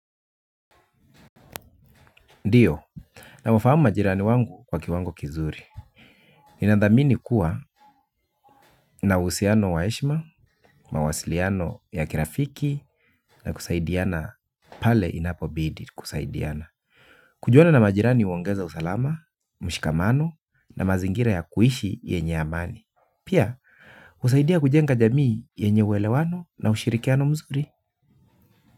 Ndiyo, nawafahamu majirani wangu kwa kiwango kizuri. Ninathamini kuwa nina uhusiano wa heshima, mawasiliano ya kirafiki na kusaidiana pale inapobidi kusaidiana. Kujuana na majirani huongeza usalama, mshikamano na mazingira ya kuishi yenye amani. Pia, husaidia kujenga jamii yenye uelewano na ushirikiano mzuri.